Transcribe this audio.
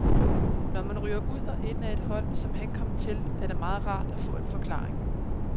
Når man ryger ud og ind af et hold, som han kom til, er det meget rart at få en forklaring.